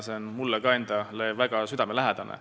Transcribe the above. See on mulle endale ka väga südamelähedane.